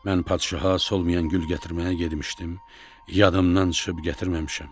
Mən padişaha solmayan gül gətirməyə getmişdim, yadımdan çıxıb gətirməmişəm.